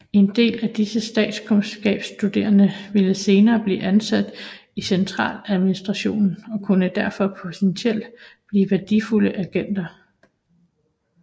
En del af disse statskundskabsstuderende ville senere blive ansat i centraladministrationen og kunne derfor potentielt blive værdifulde agenter